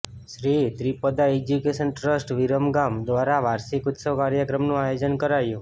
Shri Tripada Education Trust Viramgam દ્વારા વાર્ષિક ઉત્સવ કાર્યક્રમનું આયોજન કરાયું